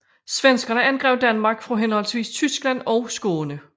Svenskerne angreb Danmark fra henholdsvis Tyskland og Skåne